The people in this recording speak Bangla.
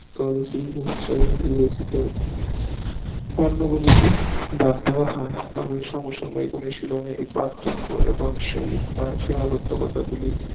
তাদের শিল্প হিসাবে বিবেচিত পণ্য গুলিকে ব্যাড দেওয়া হয় অনুশীলনে এই পার্থক্য এবং সে আবদ্ধকতা